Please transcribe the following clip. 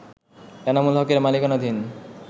এনামুল হকের মালিকানাধীন